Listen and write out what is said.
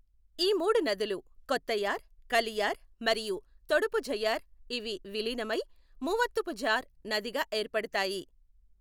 ఈ మూడు నదులు కొత్తయార్, కలియార్ మరియు తొడుపుఝయ్యార్, ఇవి విలీనమయి మూవత్తుపుఝార్ నదిగా ఏర్పడతాయి.